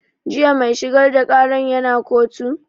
Jiya mai shigar da ƙaran ya na kotu?